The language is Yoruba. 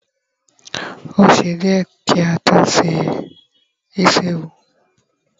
o ṣe diẹ ki a to se isi ẹwù